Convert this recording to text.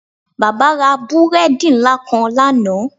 Baba ra búredì nla kan lana.